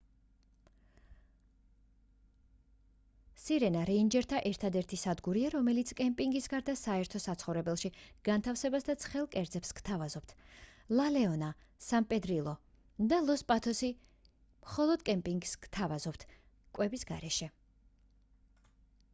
სირენა რეინჯერთა ერთადერთი სადგურია რომელიც კემპინგის გარდა საერთო საცხოვრებელში განთავსებას და ცხელ კერძებს გთავაზობთ ლა ლეონა სან პედრილო და ლოს პატოსი მხოლოდ კემპინგს გთავაზობთ კვების გარეშე